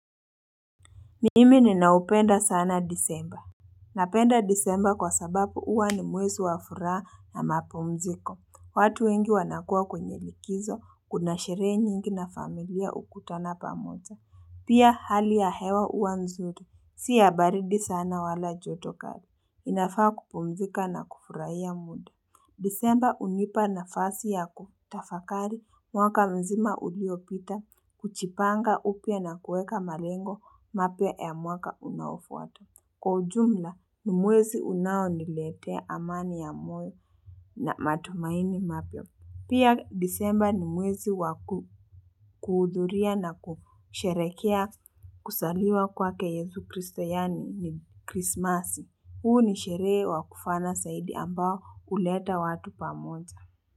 Mimi ninaupenda sana disemba Napenda disemba kwa sabapu huwa ni mwezi wafuraha na mapumziko watu wengi wanakuwa kwenye likizo kuna sherehe nyingi na familia hukutana pamoja Pia hali ya hewa huwa nzuri Si ya baridi sana wala joto kali ninafaa kupumzika na kufurahia muda Disemba hunipa nafasi yaku tafakari mwaka mzima uliopita kujipanga upya na kuweka malengo mapya ya mwaka unaofuata Kwa ujumla, ni mwezi unao niletea amani ya moyo na matumaini mapya Pia disemba ni mwezi wakuhudhuria na kusherehekea kuzaliwa kwake yesu kristo yaani ni krismasi huu ni sherehe wa kufana zaidi ambao huleta watu pamoja.